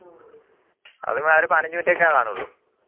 അതൊരു പതിനനജ് minute ഒക്കെയേ കാണുള്ളൂ